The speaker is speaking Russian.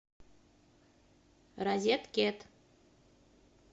розеткед